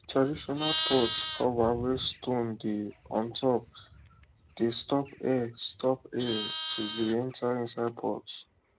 traditional pot cover wey stone dey untop dey stop air stop air to dey enter inside pot